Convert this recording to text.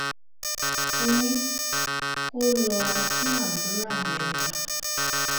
mo ní kó lọá tún àdúrà yẹn gbà